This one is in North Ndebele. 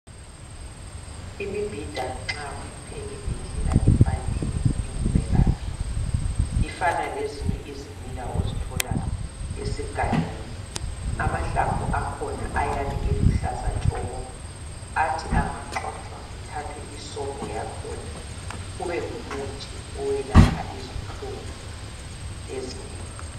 Imibhida nxa uyipheke ngendlela efaneleyo ingumelaphi, ifana lezinye izimila ozithola esigangeni. Amahlamvu akhona ayabe eluhlaza tshoko athi angagxotshwa kuthathwe isobho yakhona kube ngumuthi oyelapha izinhlungu ezinengi.